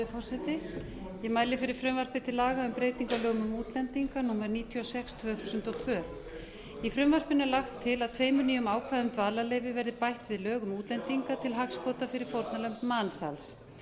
forseti ég mæli fyrir frumvarpi til laga um breyting á lögum um útlendinga númer níutíu og sex tvö þúsund og tvö í frumvarpinu er lagt til að tveimur nýjum ákvæðum um dvalarleyfi verði bætt við lög um útlendinga til hagsbóta fyrir fórnarlömb mansals